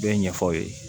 Bɛɛ ɲɛfɔ aw ye